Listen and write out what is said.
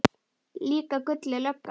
Líka Gulli lögga.